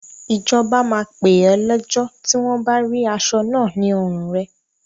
Ìjọba máa pè ọ́ lẹ́jọ́ tí wọn bá rí aṣọ náà ní ọrùn rẹ.